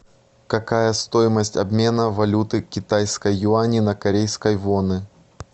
какая стоимость обмена валюты китайской юани на корейской воны